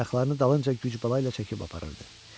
ayaqlarını dalınca güc bala ilə çəkib aparırdı.